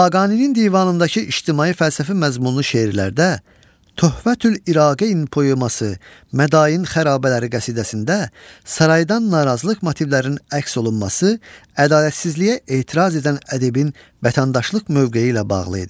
Xaqaninin divanındakı ictimai-fəlsəfi məzmunlu şeirlərdə Töhvətül İraqeyn poeması, Mədain xarabələri qəsidəsində saraydan narazılıq motivlərinin əks olunması ədalətsizliyə etiraz edən ədibin vətəndaşlıq mövqeyi ilə bağlı idi.